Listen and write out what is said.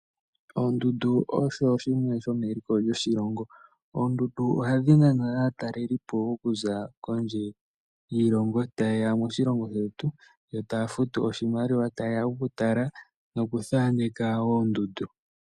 Oondundu osho shimwe shomeliko lyoshilongo. Oondundu ohadhi nana aatalelipo okuza kondje yiilongo taye ya moshilongo shetu yo taya futu oshimaliwa, taye ya okutala nokuthaaneka oondundu.